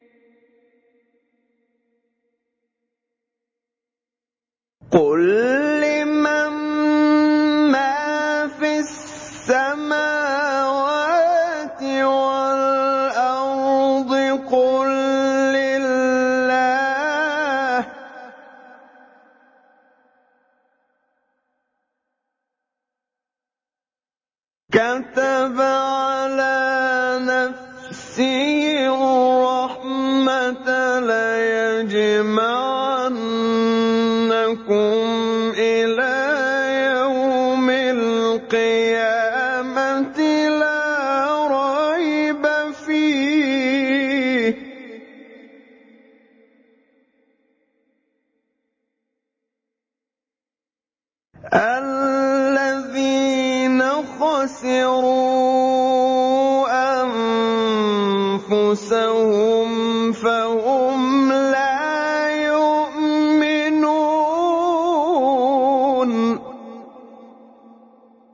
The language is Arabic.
قُل لِّمَن مَّا فِي السَّمَاوَاتِ وَالْأَرْضِ ۖ قُل لِّلَّهِ ۚ كَتَبَ عَلَىٰ نَفْسِهِ الرَّحْمَةَ ۚ لَيَجْمَعَنَّكُمْ إِلَىٰ يَوْمِ الْقِيَامَةِ لَا رَيْبَ فِيهِ ۚ الَّذِينَ خَسِرُوا أَنفُسَهُمْ فَهُمْ لَا يُؤْمِنُونَ